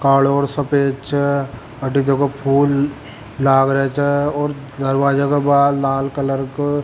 कालो और सफ़ेद छे अटी देखो फूल लागरा छे और दरवाजा के बाहर लाल कलर को --